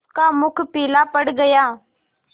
उसका मुख पीला पड़ गया